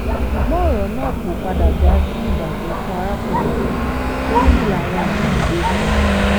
ṣùgbọ́n ọ̀rọ̀ náà kò padà já sí ìbàjẹ́ fún arákùnrin yìí oríyìn làwọn mí-ín ń gbé fún un